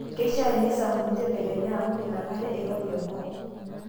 Keishaa neisampuni tedekenya amuu inakata eirobi enkop.